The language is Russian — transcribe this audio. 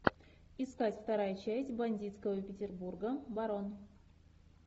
искать вторая часть бандитского петербурга барон